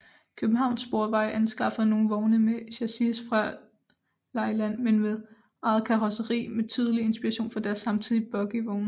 Københavns Sporveje anskaffede nogle vogne med chassis fra Leyland men med eget karosseri med tydelig inspiration fra deres samtidige bogievogne